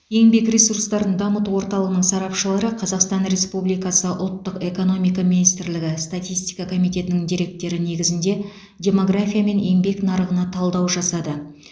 еңбек ресурстарын дамыту орталығының сарапшылары қазақстан республикасы ұлттық экономика министрлігі статистика комитетінің деректері негізінде демография мен еңбек нарығына талдау жасады